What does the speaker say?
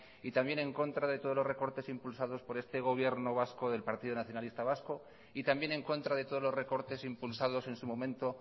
y también en contra de todos los recortes impulsados por este gobierno vasco del partido nacionalista vasco y también en contra de todos los recortes impulsados en su momento